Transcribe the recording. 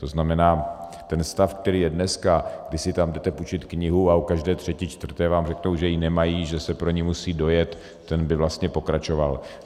To znamená, ten stav, který je dneska, kdy si tam jdete půjčit knihu a u každé třetí čtvrté vám řeknou, že ji nemají, že se pro ni musí dojet, ten by vlastně pokračoval.